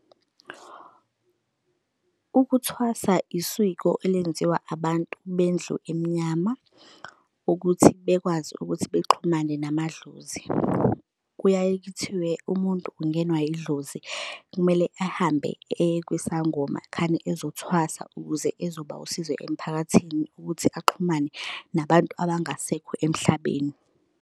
Ukuthwasa isiko elenziwa abantu bendlu emnyama ukuthi bekwazi ukuthi bexhumane namadlozi. Kuyaye kuthiwe umuntu ungenwa idlozi, kumele ahambe eye kwisangoma khane ezothwasa ukuze ezoba usizo emphakathini ukuthi axhumane nabantu abangasekho emhlabeni.